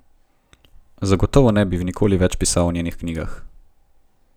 Zagotovo ne bi nikoli več pisal o njenih knjigah.